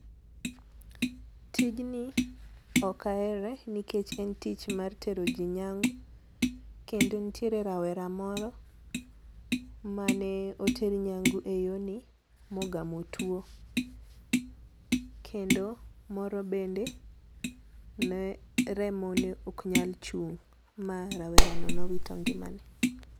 Tijni ok ahere nikech en tich mar tero jii nyangu, kendo nitiere rawera moro mane oter nyangu e yorni mogamo tuo, kendo moro bende ne remone ok nyal chung' ma rawerano ne owito ngimane.